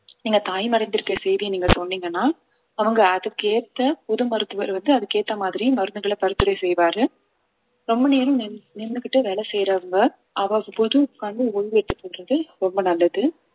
நீங்க தாய்மை அடைந்துதிருக்கிற செய்தியை நீங்க சொன்னீங்கன்னா அவங்க அதுக்கேத்த புது மருத்துவர் வந்து அதுக்கு ஏத்த மாதிரி மருந்துகளை பரிந்துரை செய்வாரு ரொம்ப நேரம் நின்னு~ நின்னுக்கிட்டே வேலை செய்யறவங்க அவ்வப்போது உட்காந்து ஒய்வு எடுத்துக்கொள்றது ரொம்ப நல்லது